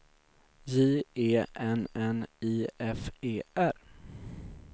J E N N I F E R